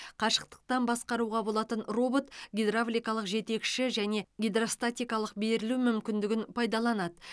қашықтан басқаруға болатын робот гидравликалық жетекші және гидростатикалық берілу мүмкіндігін пайдаланады